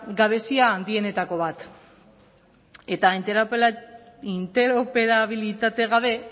gabezia handienetako bat eta interoperabilitate gabe